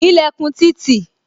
Ilẹkun ti tì